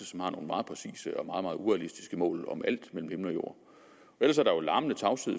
som har nogle meget præcise og meget meget urealistiske mål om alt mellem himmel og jord ellers er der jo larmende tavshed